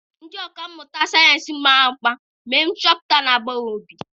Ndị ọkà mmụta sayensị mara mma mere nchọpụta na-agbawa obi.